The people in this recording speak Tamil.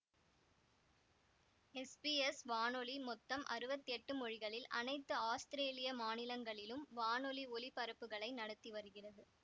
எஸ்பிஎஸ் வானொலி மொத்தம் அறுவத்தி எட்டு மொழிகளில் அனைத்து ஆஸ்திரேலிய மாநிலங்களிலும் வானொலி ஒலிபரப்புகளை நடத்தி வருகிறது